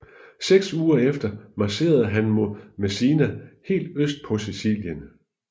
Seks uger efter marcherede han mod Messina helt øst på Sicilien